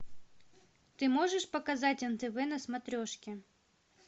ты можешь показать нтв на смотрешке